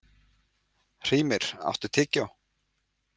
Hrímnir, áttu tyggjó?